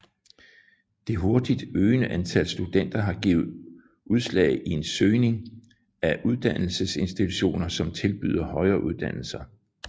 Det hurtigt øgende antal studenter har givet udslag i en øgning af uddannelsesinstitutioner som tilbyder højere uddannelse